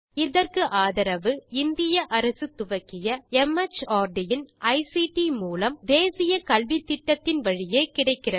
இதற்கு ஆதரவு இந்திய அரசு துவக்கிய மார்ட் இன் ஐசிடி மூலம் தேசிய கல்வித்திட்டத்தின் வழியே கிடைக்கிறது